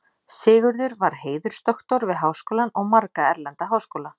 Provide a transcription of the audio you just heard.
Sigurður var heiðursdoktor við Háskólann og marga erlenda háskóla.